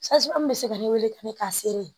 bɛ se ka ne wele ka ne k'a seri